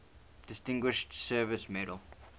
distinguished service medal